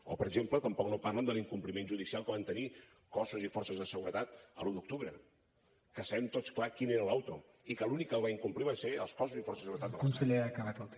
o per exemple tampoc no parlen de l’incompliment judicial que van tenir cossos i forces de seguretat l’un d’octubre que sabem tots clar quina era la interlocutòria i que els únics que la va incomplir van ser els cossos i forces de seguretat de l’estat